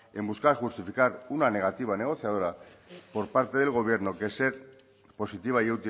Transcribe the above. en buscar justificar una negativa negociadora por parte del gobierno que ser positiva y